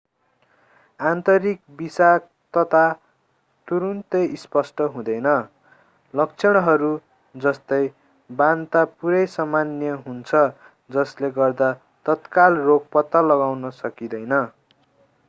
आन्तरिक विषाक्तता तुरुन्तै स्पष्ट हुँदैन लक्षणहरू जस्तै बान्ता पूरै सामान्य हुन्छन् जस्ले गर्दा तत्काल रोग पत्ता लगाउन सकिदैँन